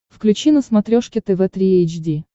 включи на смотрешке тв три эйч ди